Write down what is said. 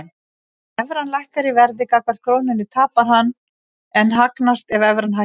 Ef evran lækkar í verði gagnvart krónunni tapar hann en hagnast ef evran hækkar.